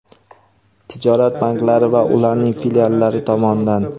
tijorat banklari va ularning filiallari tomonidan;.